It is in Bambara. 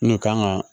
N'o kan ga